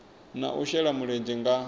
na u shela mulenzhe nga